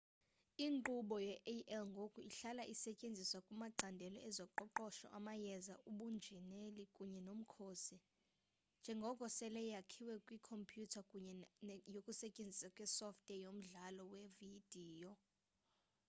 inkqubo ye-ai ngoku ihlala isetyenziswa kumacandelo ezoqoqosho amayeza ubunjineli kunye nomkhosi njengoko sele yakhiwe kwikhompyuter kunye nokusetyenziswa kwesoftware yomdlalo wevidiyo